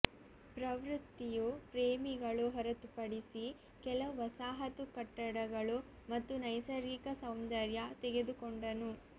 ಪ್ರವೃತ್ತಿಯು ಪ್ರೇಮಿಗಳು ಹೊರತುಪಡಿಸಿ ಕೆಲವು ವಸಾಹತು ಕಟ್ಟಡಗಳು ಮತ್ತು ನೈಸರ್ಗಿಕ ಸೌಂದರ್ಯ ತೆಗೆದುಕೊಂಡನು